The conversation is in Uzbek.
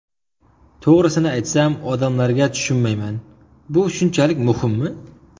To‘g‘risini aytsam, odamlarga tushunmayman, bu shunchalik muhimmi?